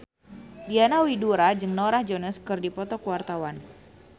Diana Widoera jeung Norah Jones keur dipoto ku wartawan